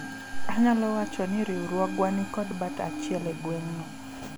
anyalo wacho ni riwruogwa nikod bat achiel e gweng'no